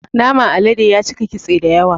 Naman alade yacika kitse dayawa